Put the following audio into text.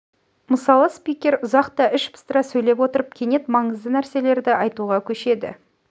мысалы спикер ұзақ та іш пыстыра сөйлеп отырып кенет маңызды нәрселерді айтуға көшеді